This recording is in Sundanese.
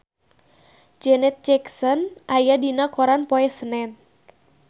Janet Jackson aya dina koran poe Senen